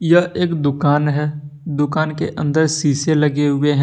यह एक दुकान है दुकान के अंदर शीशे लगे हुए हैं।